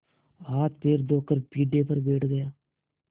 हाथपैर धोकर पीढ़े पर बैठ गया